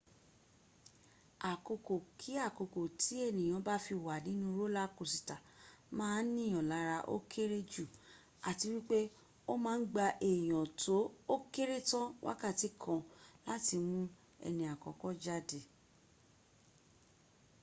àkókò kí àkókò tí ènìyàn bá fi wà nínú rólá kosìtà má a nìyàn lára ó kéré jù àti wípé ó ma ń gba èèyàn tó ókéré tán wákàtí kan láti mún ẹni àkọ́kọ́ jáde